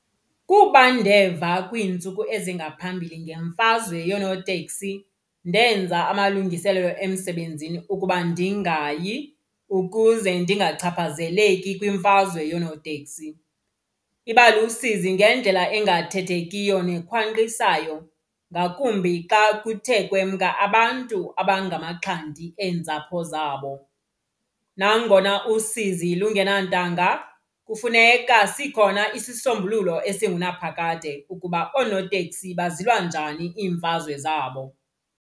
Kuba ndeva kwiintsuku ezingaphambili ngemfazwe yoonoteksi, ndenza amalungiselelo emsebenzini ukuba ndingayi ukuze ndingachaphazeleki kwimfazwe yoonoteksi. Iba lusizi ngendlela engathethekiyo nekhwanqisayo ngakumbi xa kuthe kwemka abantu abangamaxhanti eentsapho zabo. Nangona usizi lungenantanga kufuneka sikhona isisombululo esingunaphakade ukuba oonotekisi bazilwa njani iimfazwe zabo.